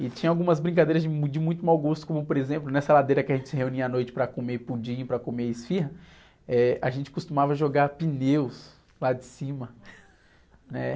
E tinha algumas brincadeiras de mui, de muito mau gosto, como por exemplo, nessa ladeira que a gente se reunia à noite para comer pudim e para comer esfirra, eh, a gente costumava jogar pneus lá de cima, né?